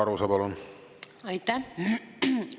Aitäh!